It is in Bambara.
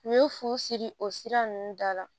U ye fu siri o sira ninnu da la